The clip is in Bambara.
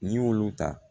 N'i y'olu ta